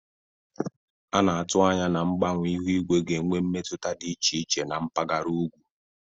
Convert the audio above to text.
A na-atụ anya na mgbanwe ihu igwe ga-enwe mmetụta dị iche iche na mpaghara ugwu.